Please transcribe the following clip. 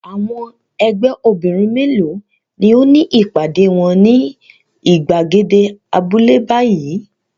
Àwọn ẹgbẹ́ obìnrin mélòó ni ó ní ìpàdé wọn ní ìgbàgede abúlé báyìí?